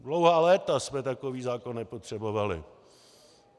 Dlouhá léta jsme takový zákon nepotřebovali.